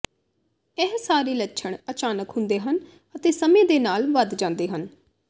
ਇਹ ਸਾਰੇ ਲੱਛਣ ਅਚਾਨਕ ਹੁੰਦੇ ਹਨ ਅਤੇ ਸਮੇਂ ਦੇ ਨਾਲ ਵੱਧ ਜਾਂਦੇ ਹਨ